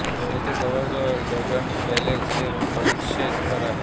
येथे जवळच Dragon Palace हे प्रेक्षणीय स्थळ आहे